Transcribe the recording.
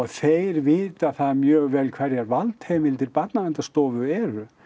þeir vita það mjög vel hverjar valdheimildir Barnaverndarstofu eru